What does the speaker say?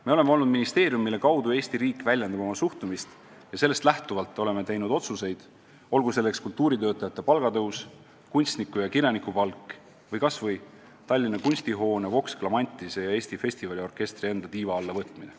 Me oleme olnud ministeerium, mille kaudu Eesti riik väljendab oma suhtumist, ja sellest lähtuvalt oleme teinud otsuseid, olgu selleks kultuuritöötajate palga tõus, kunstniku- ja kirjanikupalk või kas või Tallinna Kunstihoone, Vox Clamantise ja Eesti Festivaliorkestri enda tiiva alla võtmine.